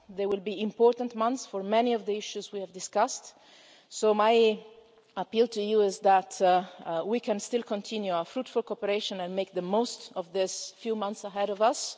of us. They will be important months for many of the issues we have discussed, so my appeal to you is that we can still continue our fruitful cooperation and make the most of these few months ahead